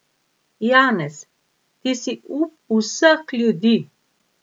Janez, ti si up vseh ljudi!